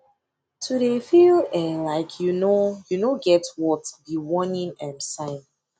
to dey feel um like you no you no get worth be warning um sign